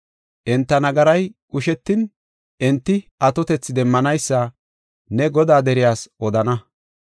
Enta nagaray qushetin, enti atotethi demmanaysa ne Godaa deriyas odana.